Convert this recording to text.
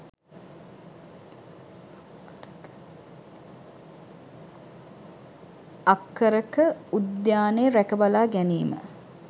අක්කර ක උද්‍යානය රැකබලා ගැනීම